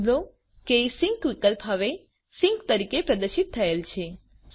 નોંધ લો કે સિંક વિકલ્પ હવે સિંક તરીકે પ્રદર્શિત થયેલ છે